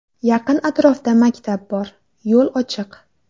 Yaqin atrofda maktab bor, yo‘l ochiq.